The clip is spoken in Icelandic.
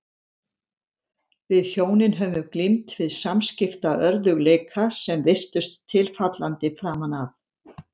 Við hjónin höfðum glímt við samskiptaörðugleika sem virtust tilfallandi framan af.